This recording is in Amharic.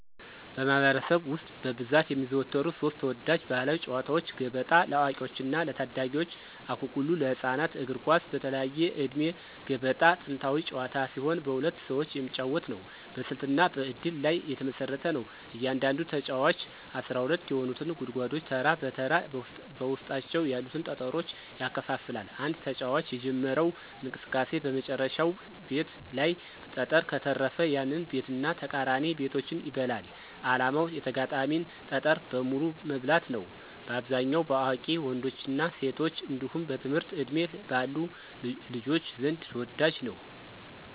በማኅበረሰብ ውስጥ በብዛት የሚዘወተሩ ሦስት ተወዳጅ ባሕላዊ ጨዋታዎች፦ ገበጣ (ለአዋቂዎችና ለታዳጊዎች) ፣አኩኩሉ (ለህፃናት)፣ እግር ኳስ (በተለያየ ዕድሜ)። ገበጣ ጥንታዊ ጨዋታ ሲሆን በሁለት ሰዎች የሚጫወት ነው። በስልትና በእድል ላይ የተመሰረተ ነው። እያንዳንዱ ተጫዋች 12 የሆኑትን ጉድጓዶች ተራ በተራ በውስጣቸው ያሉትን ጠጠሮች ያከፋፍላል። አንድ ተጫዋች የጀመረው እንቅስቃሴ በመጨረሻው ቤት ላይ ጠጠር ከተረፈ፣ ያንን ቤትና ተቃራኒ ቤቶችን ይበላል። ዓላማው የተጋጣሚን ጠጠር በሙሉ መብላት ነው። በአብዛኛው በአዋቂ ወንዶችና ሴቶች እንዲሁም በትምህርት ዕድሜ ባሉ ልጆች ዘንድ ተወዳጅ ነው።